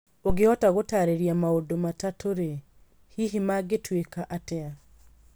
ũngĩhota gũtaarĩria maũndũ matatũ-rĩ, hihi mangĩtuĩka atĩa?